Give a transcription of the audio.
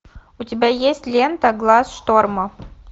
у тебя есть лента глаз шторма